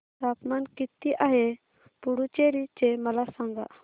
तापमान किती आहे पुडुचेरी चे मला सांगा